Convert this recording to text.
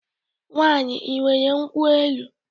Nwaanyị, ị nwere nkwụ elu?